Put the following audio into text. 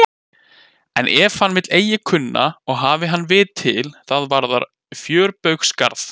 En ef hann vill eigi kunna og hafi hann vit til, það varðar fjörbaugsgarð.